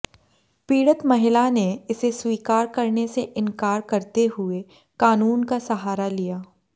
पीड़ित महिला ने इसे स्वीकार करने से इनकार करते हुए कानून का सहारा लिया